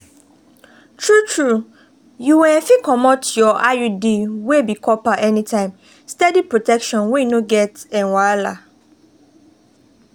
true-true you um fit comot your iud wey be copper anytime steady protection wey no get um wahala.